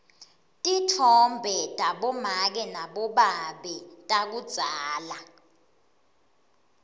titfombe tabomake nabobabe takudzala